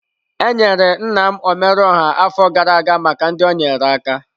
Enyere nna m omeruoha afọ gara aga maka ndị o nyeere aka.